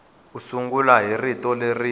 u sungula hi rito leri